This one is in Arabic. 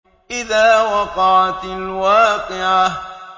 إِذَا وَقَعَتِ الْوَاقِعَةُ